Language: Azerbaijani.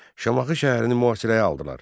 Şamaxı şəhərini mühasirəyə aldılar.